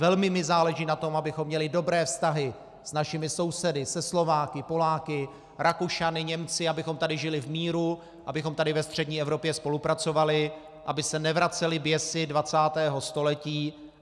Velmi mi záleží na tom, abychom měli dobré vztahy s našimi sousedy, se Slováky, Poláky, Rakušany, Němci, abychom tady žili v míru, abychom tady ve střední Evropě spolupracovali, aby se nevracely běsy 20. století.